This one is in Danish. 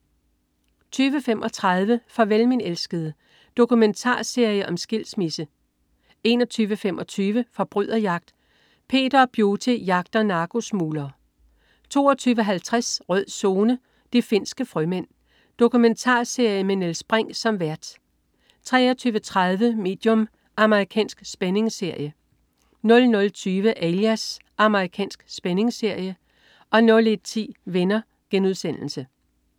20.35 Farvel min elskede. Dokumentarserie om skilsmisse 21.25 Forbryderjagt. Peter og Beauty jagter narkosmuglere 22.50 Rød Zone: De finske frømænd. Dokumentarserie med Niels Brinch som vært 23.30 Medium. Amerikansk spændingsserie 00.20 Alias. Amerikansk spændingsserie 01.10 Venner*